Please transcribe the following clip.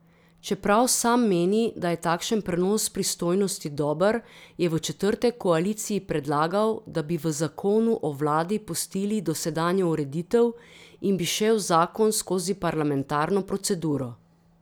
Čeprav sam meni, da je takšen prenos pristojnosti dober, je v četrtek koaliciji predlagal, da bi v zakonu o vladi pustili dosedanjo ureditev in bi šel zakon skozi parlamentarno proceduro.